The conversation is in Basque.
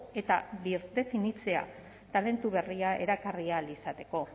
eta birdefinitzea talentu berriak erakarri ahal izateko